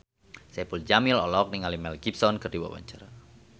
Saipul Jamil olohok ningali Mel Gibson keur diwawancara